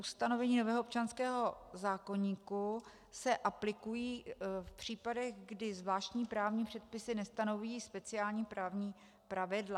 Ustanovení nového občanského zákoníku se aplikují v případech, kdy zvláštní právní předpisy nestanoví speciální právní pravidla.